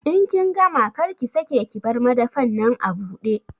In kin gama, kar ki sake ki bar madafan nan abude!